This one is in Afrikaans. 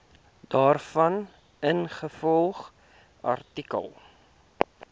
daarvan ingevolge artikel